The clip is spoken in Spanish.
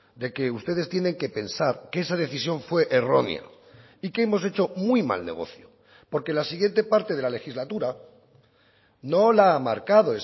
de que ustedes tienen que pensar que esa decisión fue errónea y que hemos hecho muy mal negocio porque la siguiente parte de la legislatura no la ha marcado